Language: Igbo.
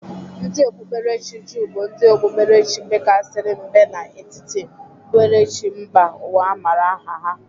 Ndị okpuberechi jụụ bụ ndị okpuberechi bekasiri mbe n'etiti okpukperechi mba ụwa amara aha ha.